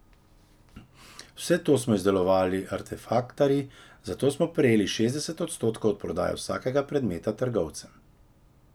Vse to smo izdelovali artefaktarji, zato smo prejeli šestdeset odstotkov od prodaje vsakega predmeta trgovcem.